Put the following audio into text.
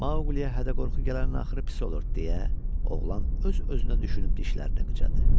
Maqliyə hədə-qorxu gələnin axırı pis olur, deyə oğlan öz-özünə düşünüb dişlərini qıcadı.